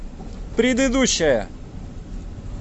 предыдущая